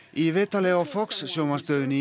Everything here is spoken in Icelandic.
í viðtali á Fox sjónvarpsstöðinni